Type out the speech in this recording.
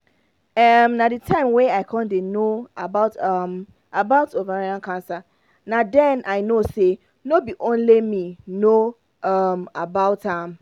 um na the time wey i con dey no um about ovarian cancer na den i know say no be only me no know um about am